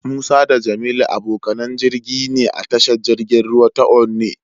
Musa da Jamilu abokanan jirgi ne a tashar jirgin ruwa ta Onne.